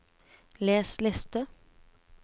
les liste